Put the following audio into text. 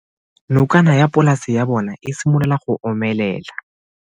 Nokana ya polase ya bona, e simolola go omelela.